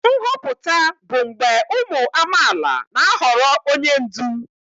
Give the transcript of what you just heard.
Nhọpụta bụ mgbe ụmụ amaala na-ahọrọ onye ndu.